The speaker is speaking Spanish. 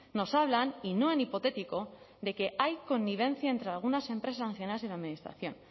nos hablan y no en hipotético de que hay connivencia entre algunas empresas sancionadas y la administración